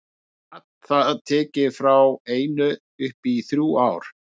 Gat það tekið frá einu upp í þrjú ár.